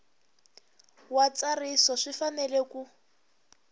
wa ntsariso swi fanele ku